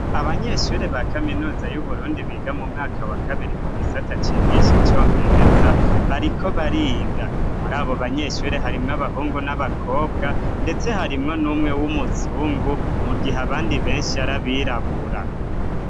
Abanyeshure ba kaminuza y'Uburundi biga mu mwaka wa kabiri mu gisata cigisha icongereza bariko bariga. Muri abo banyeshure harimwo abahungu n'abakobwa, ndetse harimwo n'umwe w'umuzungu, mu gihe abandi benshi ari abirabura.